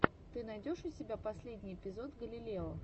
ты найдешь у себя последний эпизод галилео